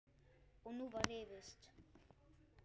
Og nú var rifist.